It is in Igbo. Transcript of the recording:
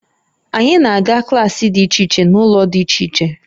Anyị na-aga klaasị dị iche iche n'ụlọ dị iche iche